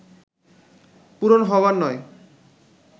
পূরণ হবার নয়